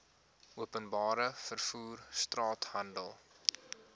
openbare vervoer straathandel